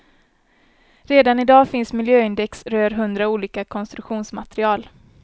Redan i dag finns miljöindex rör hundra olika konstruktionsmaterial.